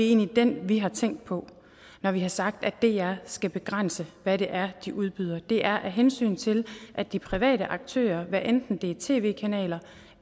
egentlig den vi har tænkt på når vi har sagt at dr skal begrænse hvad det er de udbyder det er af hensyn til at de private aktører hvad enten det er tv kanaler